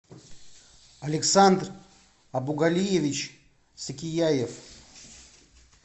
александр абугалиевич сакияев